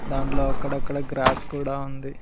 దాంట్లో అక్కడక్కడ గ్రాస్ కూడా ఉంది.